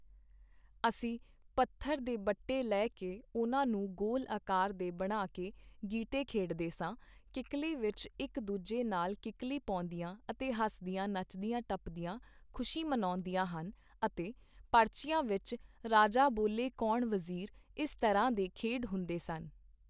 ਅਸੀਂ ਪੱਥਰ ਦੇ ਬੱਟੇ ਲੈ ਕੇ ਉਹਨਾਂ ਨੂੰ ਗੋਲ ਆਕਾਰ ਦੇ ਬਣਾ ਕੇ ਗੀਟੇ ਖੇਡਦੇ ਸਾਂ, ਕਿੱਕਲੀ ਵਿੱਚ ਇੱਕ ਦੂਜੇ ਨਾਲ ਕਿੱਕਲੀ ਪਾਉਂਦੀਆਂ ਅਤੇ ਹੱਸਦੀਆਂ ਨੱਚਦੀਆਂ ਟੱਪਦੀਆਂ ਖੁਸ਼ੀ ਮਨਾਉਂਦੀਆਂ ਹਨ ਅਤੇ ਪਰਚੀਆਂ ਵਿੱਚ ਰਾਜਾ ਬੋਲੇ ਕੌਣ ਵਜ਼ੀਰ, ਇਸ ਤਰ੍ਹਾਂ ਦੇ ਖੇਡ ਹੁੰਦੇ ਸਨ।